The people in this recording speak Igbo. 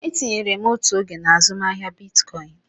Etinyere m otu oge na azụmaahịa Bitcoin.